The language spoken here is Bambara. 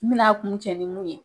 N bina a kun cɛ ni mun ye.